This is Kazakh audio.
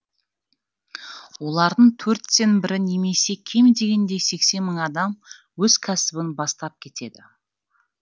олардың төрттен бірі немесе кем дегенде сексен мың адам өз кәсібін бастап кетеді